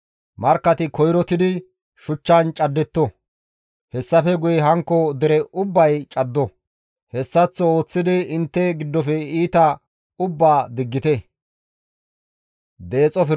Markkati koyrottidi shuchchan caddetto; hessafe guye hankko dere ubbay caddo; hessaththo ooththidi intte giddofe iita ubbaa diggite.